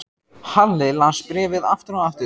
Halli las bréfið aftur og aftur.